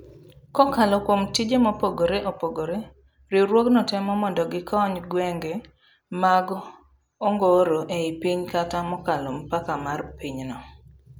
Kokalo kuom tije mopogre opogre, riwruogno temo mondogikony gwenge mag ongoro ei piny kata mokalo mpaka mar pinyno.